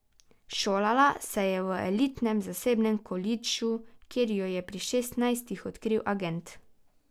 Šolala se je v elitnem zasebnem kolidžu, kjer jo je pri šestnajstih odkril agent.